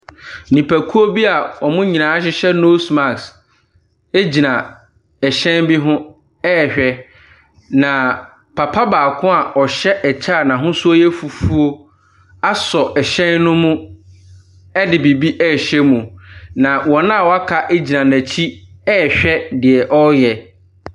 Nnipakuo bi a wɔn nyinaa hyehyɛ nose mask gyina ɛhyɛn bi ho rehwɛ, na papa baako a ɔhyɛ ɛkyɛ a n'ahosuo yɛ fufuo asɔ ɛhyɛn no mu de biribi rehyɛ mu, na wɔn a wɔaka gyin n'akyi rehwɛ dew ɔreyɛ.